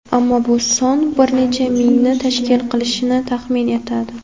Ammo bu son bir necha mingni tashkil qilishi taxmin etladi.